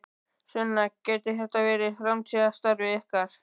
Sunna: Gæti þetta verið framtíðarstarfið ykkar?